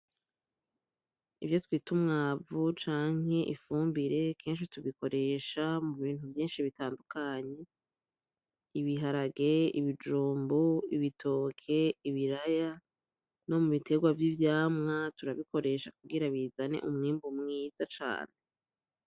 Ivyo twita umwavu canke ifumbire kenshi tubikoresha mu bintu vyinshi bitandukanye ibiharage, ibijumbu, ibitoke, ibiraya no mubiterwa vy’ivyamwa turabikoresha kugira bizane umwimbu mwiza cane.